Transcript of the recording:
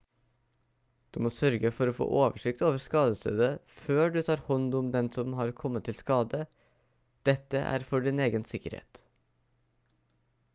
du må sørge for å få oversikt over skadestedet før du tar hånd om den som har kommet til skade dette er for din egen sikkerhet